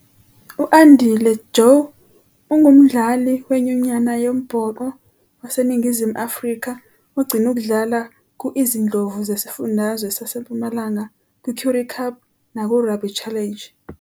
U-Andile Jho ungumdlali wenyunyana yombhoxo waseNingizimu Afrika ogcine ukudlala ku Izindlovu Zesifundazwe SaseMpumalanga kwiCurrie Cup nakuRugby Challenge.